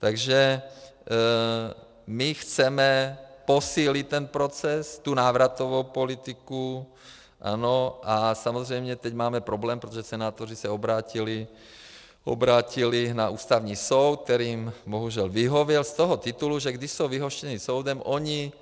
Takže my chceme posílit ten proces, tu návratovou politiku, ano, a samozřejmě teď máme problém, protože senátoři se obrátili na Ústavní soud, který jim bohužel vyhověl z toho titulu, že když jsou vyhoštěni soudem, oni